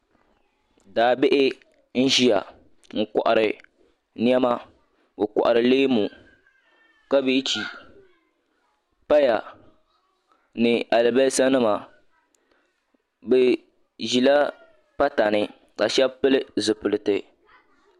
Daa bihi n-ʒiya n-kɔhiri nɛma o kɔhiri leemu kabeechi paya ni alibasanima bɛ ʒila pata ni ka shɛba pili zipiliti.